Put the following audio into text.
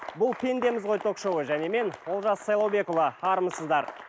бұл пендеміз ғой ток шоуы және мен олжас сайлаубекұлы армысыздар